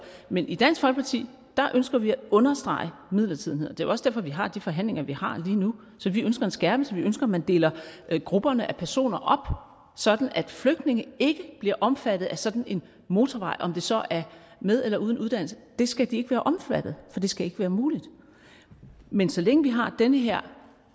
men i dansk folkeparti ønsker vi at understrege midlertidigheden det også derfor vi har de forhandlinger vi har lige nu så vi ønsker en skærpelse vi ønsker at man deler grupperne af personer op sådan at flygtninge ikke bliver omfattet af sådan en motorvej om det så er med eller uden uddannelse det skal de ikke være omfattet af for det skal ikke være muligt men så længe vi har den her